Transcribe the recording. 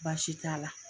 Baasi t'a la